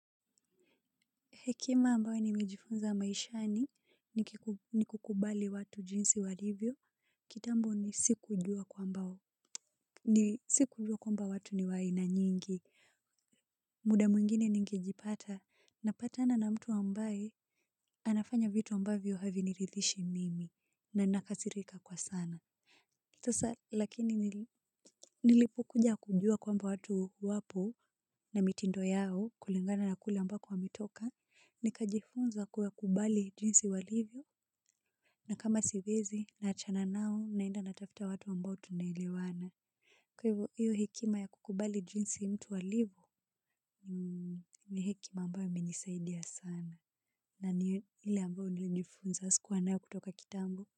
Hekima ambayo nime jifunza maishani ni kukubali watu jinsi walivyo. Kitambo ni siku jua kwamba watu ni wa aina nyingi. Muda mwingine ningejipata. Napatana na mtu ambaye anafanya vitu ambavyo haviniridhishi mimi. Na nakasirika kwa sana. Sasa lakini nilipokuja kujua kwamba watu wapo na mitindo yao kulingana na kule ambako wametoka. Nikajifunza kuwa kubali jinsi walivyo. Na kama siwezi naachana nao naenda natafuta watu mbao tunaelewana. Kwa hviyo hiyo hekima ya kukubali jinsi mtu alivyo. Ni hekima ambao imenisaidia sana. Na ni ile ambao nilijifunza sikuwa nayo kutoka kitambo.